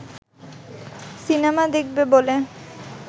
cinema দেখবে বলে